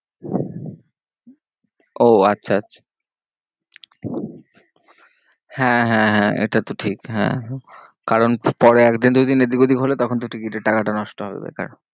ও আচ্ছা আচ্ছা হ্যাঁ হ্যাঁ হ্যাঁ এটা তো ঠিক হ্যাঁ হ্যাঁ কারণ পরে এক দিন দু দিন এদিক ওদিক হলে তখন তো ticket এর টাকাটা নষ্ট হবে বেকার।